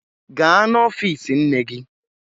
Gaa n'ọfiisi nne gị!